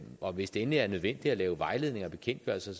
og hvis det endelig er nødvendigt at lave vejledninger og bekendtgørelser